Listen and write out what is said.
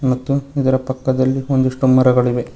ಮತ್ತು ಇದರ ಪಕ್ಕದಲ್ಲಿ ಒಂದಿಷ್ಟು ಮರಗಳಿವೆ.